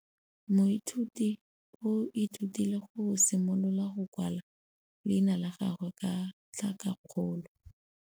Moithuti o ithutile go simolola go kwala leina la gagwe ka tlhakakgolo.